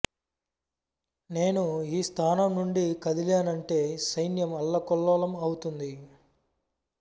నేను ఈ స్థానం నుండి కదిలానంటే సైన్యం అల్లకల్లోలం ఔతుంది